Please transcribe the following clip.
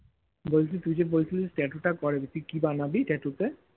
বলছি তুই যে বলছিলিস tattoo টা করবি তুই কি বানাবি tattoo তে